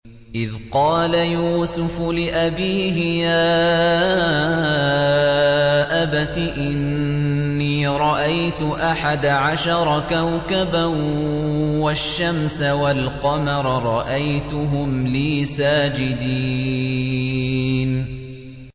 إِذْ قَالَ يُوسُفُ لِأَبِيهِ يَا أَبَتِ إِنِّي رَأَيْتُ أَحَدَ عَشَرَ كَوْكَبًا وَالشَّمْسَ وَالْقَمَرَ رَأَيْتُهُمْ لِي سَاجِدِينَ